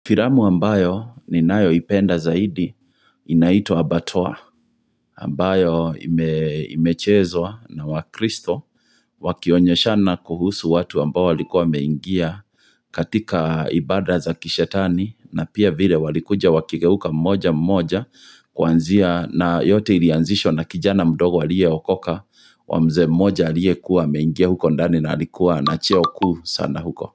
Filamu ambayo ni nayoipenda zaidi inaitwa Abatoa ambayo imechezwa na wakristo wakionyeshana kuhusu watu ambao walikuwa wameingia katika ibada za kishetani na pia vile walikuja wakigeuka mmoja mmoja kuanzia na yote ilianzishwa na kijana mdogo aliyeokoka kwa mzee mmoja aliye kuwa ameingia huko ndani na alikuwa cheo kuu sana huko.